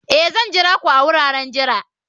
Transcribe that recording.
Ee!, Zan jira ku a wuraren jira